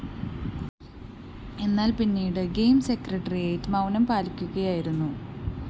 എന്നാല്‍ പിന്നീട് games secretariat മൗനം പാലിക്കുകയായിരുന്നു